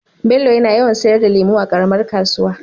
Bello yana yawan sayar da lemu a karamar kasuwa